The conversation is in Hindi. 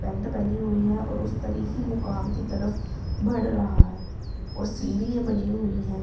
पैंट पहनी हुई है और उस तरीखी मुकाम की तरफ बढ़ रहा है और सीढ़ियां बनी हुई हैं।